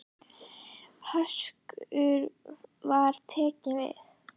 Höskuldur: Hvað tekur við?